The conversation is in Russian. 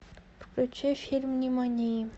включи фильм нимани